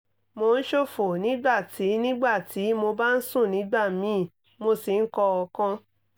mo ń ṣòfò nígbà tí nígbà tí mo bá ń sùn nígbà míì mo sì ń kọ́ ọ̀kan